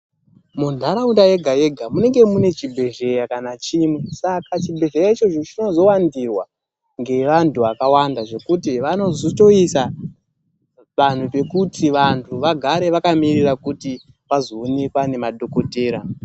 Munharaunda yega yega munenge mune chibhehlera kana chimwe, saka chibhehlera ichocho chinozowandirwa ngevanthu vakawanda zvekuti vanotozoisa vanhu pekuti vanhu vagare vakamirira kuti vazoonekwa ngemadhokotera.